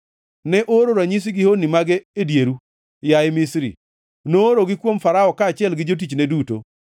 Ne ooro ranyisi gi honni mage e dieru, yaye Misri, noorogi kuom Farao kaachiel gi jotichne duto.